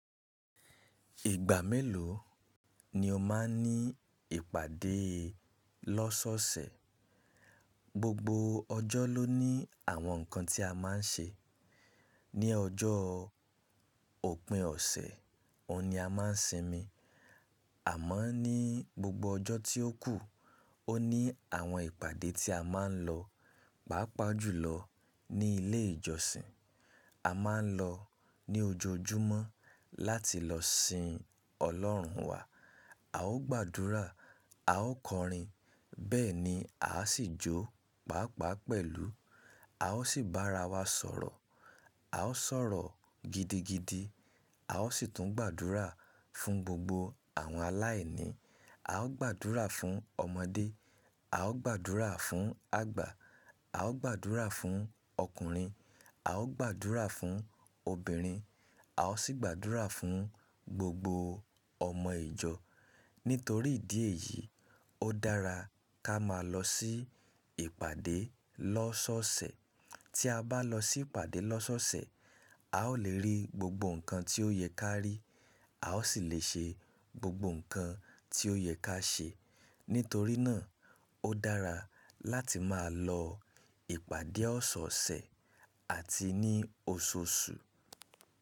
Ìgbà mélòó ni o máa ní ìpàdé lọ́sọ́ọ̀sẹ̀? Gbogbo ọjọ́ ló ní àwọn nǹkan tí a máa ń ṣe. Ni ọjọ́ òpin ọ̀sẹ̀, òun ni a máa ń sinmi. Àmọ́ ní gbogbo ọjọ́ tí ó kù, ó ní àwọn ìpàdé tí a máa ń lọ. Paápaa jùlọ ní ilé ìjọsìn. A máa ń lọ ní ojoojúmọ́ láti lọ sin Ọlọ́run wa. A ó gbàdúrà, a ó kọrin, bẹ́ẹ̀ ni a sì jó, pàápàá pẹ̀lú. A ó sì bára wa sọ̀rọ̀. A ó sọ̀rọ̀ gidigidi. A ó sì tún gbàdúrà fún gbogbo àwọn aláìní. A ó gbàdúrà fún ọmọdé, a ó gbàdúrà fún àgbà, a ó gbàdúrà fún ọkùnrin, a ó gbàdúrà fún obìnrin, a ó sì gbàdúrà fún gbogbo ọmọ ìjọ. Nítorí ìdí èyí, ó dára ká máa lọ sí ìpàdé lọ́sọ́ọ̀sẹ̀. Tí a bá lọ sí ìpàdé lọ́sọ́ọ̀sẹ̀, a ó lè rí gbogbo nǹkan tí ó yẹ ká rí. A ó sì lè ṣe gbogbo nǹkan tí ó yẹ ká ṣe. Nítorí náà, ó dára láti máa lọ ìpàdé ọ̀sọ̀ọ̀sẹ̀ àti ní oṣooṣù.